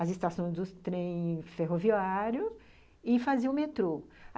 As estações dos trens ferroviário e fazia o metrô.